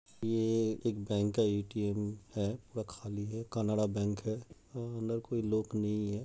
ये एक बैंक का ए_टी_एम् है व खाली है कनडा बैंक है। अंदर कोई लॉक नहीं है।